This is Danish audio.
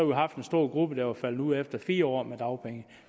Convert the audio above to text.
haft en stor gruppe der var faldet ud efter fire år med dagpenge